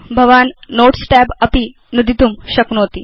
भवान् notes tab अपि नुदितुं शक्नोति